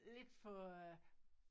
Lidt for øh